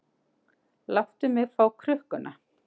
Láttu mig fá krukkuna.